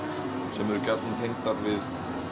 sem eru gjarnan tengdar við